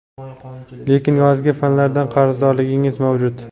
lekin yozgi fanlardan qarzdorligingiz mavjud.